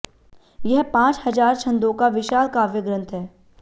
यह पांच हजार छंदों का विशाल काव्य ग्रंथ है